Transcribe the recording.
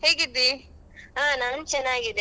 ಹೇಗಿದ್ದೀ?